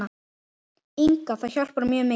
Inga Það hjálpar mjög mikið.